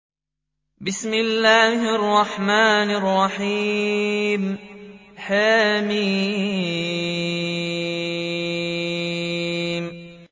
حم